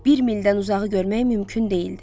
Bir mildən uzağı görmək mümkün deyildi.